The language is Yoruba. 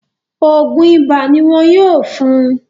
Ògùn ibà ní wọn yóò fún un